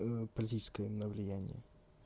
политическое но влияние